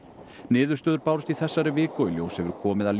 niðurstöður bárust í þessari viku og í ljós hefur komið að